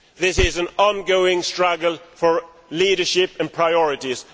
This is an ongoing struggle for leadership and priorities.